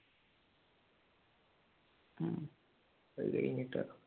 ഉം അത് കഴിഞ്ഞിട്ടാ